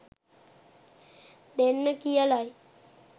දෙන්න කියලයි.